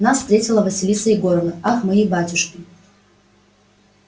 нас встретила василиса егоровна ах мои батюшки